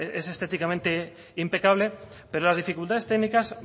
es estéticamente impecable pero las dificultades técnicas